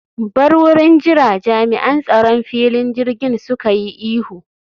Bar wurin jira!, Jami'an tsaron filin jirgin suka yi ihu